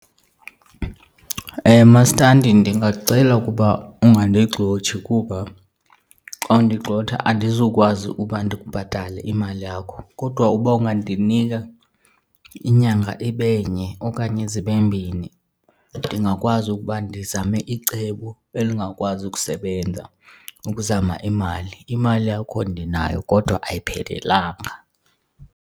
Mastandi, ndingacela ukuba ungandigxothi kuba xa undigxotha andizukwazi ukuba ndikubhatale imali yakho, kodwa uba ungandinika inyanga ibe nye okanye zibe mbini ndingakwazi ukuba ndizame icebo elingakwazi ukusebenza ukuzama imali. Imali yakho ndinayo kodwa ayiphelelanga.